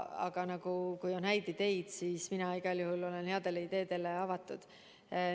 Aga kui on häid ideid, siis mina igal juhul olen headele ideedele avatud.